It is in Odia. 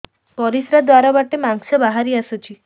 ପରିଶ୍ରା ଦ୍ୱାର ବାଟେ ମାଂସ ବାହାରି ଆସୁଛି